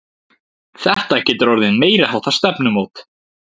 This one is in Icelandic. Þetta getur orðið meiriháttar stefnumót!